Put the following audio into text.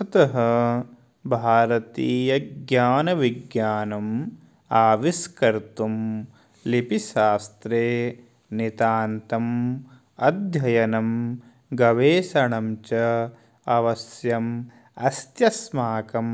अतः भारतीयज्ञानविज्ञानम् आविष्कर्तुं लिपिशास्ते नितान्तम् अध्ययनं गवेषणं च अवश्यम् अस्त्यस्माकं